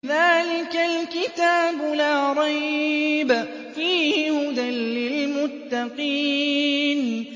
ذَٰلِكَ الْكِتَابُ لَا رَيْبَ ۛ فِيهِ ۛ هُدًى لِّلْمُتَّقِينَ